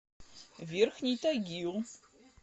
верхний тагил